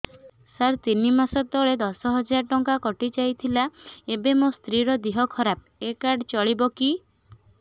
ସାର ତିନି ମାସ ତଳେ ଦଶ ହଜାର ଟଙ୍କା କଟି ଥିଲା ଏବେ ମୋ ସ୍ତ୍ରୀ ର ଦିହ ଖରାପ ଏ କାର୍ଡ ଚଳିବକି